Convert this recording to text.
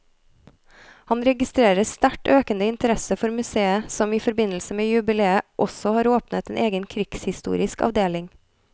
Han registrerer sterkt økende interesse for museet som i forbindelse med jubileet også har åpnet en egen krigshistorisk avdeling.